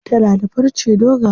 Tana da farce dogaye.